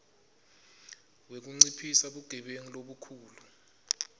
wekunciphisa bugebengu lobukhulu